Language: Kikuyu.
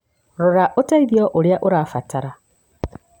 Rora ũteithio ũrĩa ũrabatara.